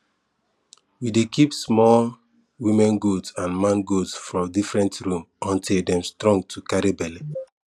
we dey keep small woman goat and man goat for different room until dem strong to carry belle